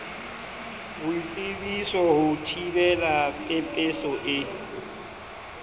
boitsebiso ho thibela pepeso e